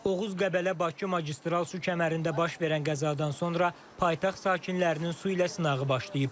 Oğuz Qəbələ Bakı magistral su kəmərində baş verən qəzadan sonra paytaxt sakinlərinin su ilə sınağı başlayıb.